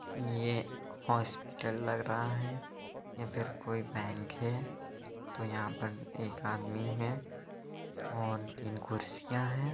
ये हॉस्पिटल लग रहा है या फिर कोई बैंक है| तो यहाँ पर एक आदमी है और तीन कुर्सियाँ है।